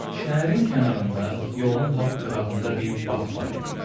Şəhərin kənarında, yolun lap qırağında bir bağ var idi.